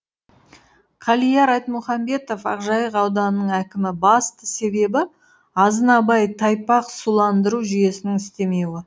қалияр айтмұхамбетов ақжайық ауданының әкімі басты себебі азынабай тайпақ суландыру жүйесінің істемеуі